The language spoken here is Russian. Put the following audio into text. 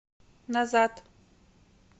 назад